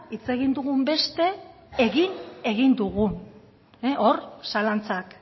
hitz egin dugun beste egin egin dugun hor zalantzak